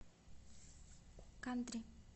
кантри